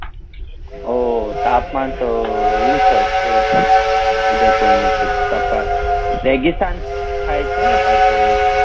ઓ તાપમાન તો ઉંચો છે એકદમ ઉદયપુર નું તો અત્યારે રેગીસ્તાન થાય છે ને પાછળ